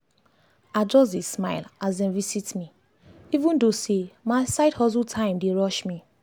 i just dey smile as dem visit me even though say my side hustle time dey rush me.